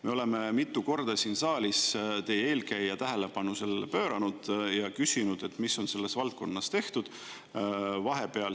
Me oleme mitu korda siin saalis teie eelkäija tähelepanu sellele pööranud ja küsinud, mis on selles valdkonnas tehtud.